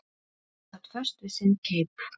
Hún sat föst við sinn keip.